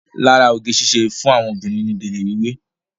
Lára oge síṣe fún àwọn obìnrin ní gélé wíwé.